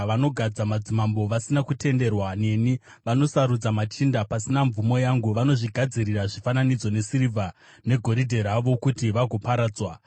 Vanogadza madzimambo vasina kutenderwa neni; vanosarudza machinda pasina mvumo yangu. Vanozvigadzirira zvifananidzo nesirivha negoridhe ravo kuti vagoparadzwa.